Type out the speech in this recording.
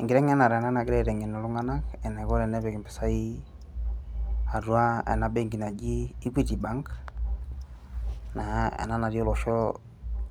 enkiteng'enare enanagirae aiteng'en iltung'anak enaiko tenepik impisai atua ena benki naji equity bank naa ena natii olosho